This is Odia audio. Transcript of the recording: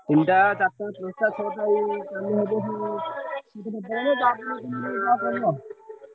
ତିନ ଟା ଚାରିଟା ।